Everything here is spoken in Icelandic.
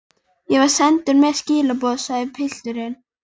Ég var sendur með skilaboð, sagði pilturinn.